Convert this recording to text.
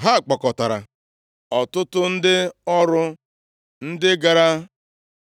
Ha kpọkọtara ọtụtụ ndị ọrụ, ndị gara